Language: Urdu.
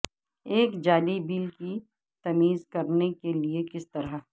ایک جعلی بل کی تمیز کرنے کے لئے کس طرح